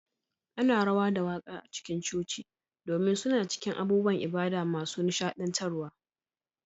Ana rawa da waƙa a cikin coci domin suna cikin abubuwan ibada masu nishaɗantarwa.